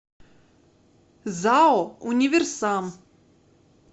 зао универсам